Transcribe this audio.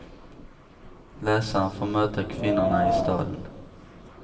Läsaren får möta kvinnorna i staden.